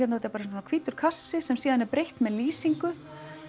bara hvítur kassi sem svo er breytt með lýsingu